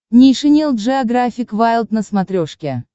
нейшенел джеографик вайлд на смотрешке